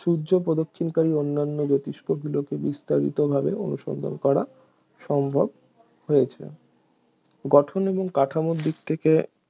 সূর্য প্রদক্ষিণকারী অন্যান্য জ্যোতিষ্কগুলিকে বিস্তারিতভাবে অনুসন্ধান করা সম্ভব হয়েছে গঠন এবং কাঠামোর দিক থেকে